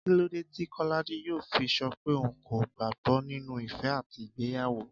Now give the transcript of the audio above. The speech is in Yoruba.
Kí ló dé tí Kọ́ládé yóò fi sọ pé òun kò gbàgbó nínú ìfẹ́ àti ìgbéyàwó